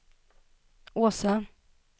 Åsa